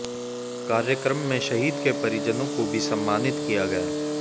कार्यक्रम में शहीद के परिजनों को भी सम्मानित किया गया